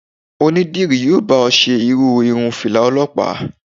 Onídìrí yóò bá ọ ṣe irú irun Fìlà Ọlọ́pàá.